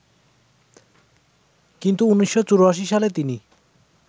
কিন্তু ১৯৮৪ সালে তিনি